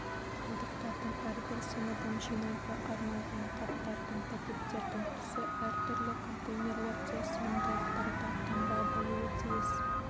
қалдықтардың әрбір сыныбын жинауға арналған қаптардың пакеттердің түсі әртүрлі контейнерлерде сыйымдылықтарда таңба болуы тиіс